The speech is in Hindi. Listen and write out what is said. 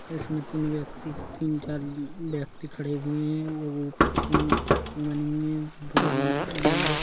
इसमें तीन व्यक्ति तीन चार व्यक्ति खड़े हुए है वो ऊपर तीन गई हैं।